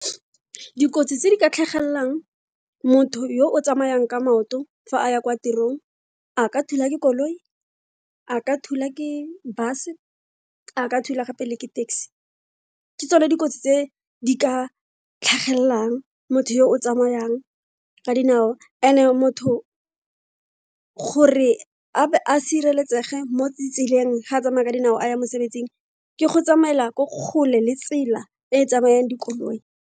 Dikotsi tse di ka tlhagelelang motho yo o tsamayang ka maoto fa a ya kwa tirong, a ka thula ke koloi, a ka thula ke bus, a ka thula gape le ke taxi, ke tsone dikotsi tse di ka tlhagelelang motho yo o tsamayang ka dinao and-e motho gore a be a sireletsege mo ditseleng ga tsamaya ka dinao a ya mosebetsing ke go tsamaela ko kgole le tsela e e tsamayang dikoloi.